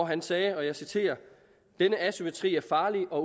han sagde og jeg citerer denne asymmetri er farlig og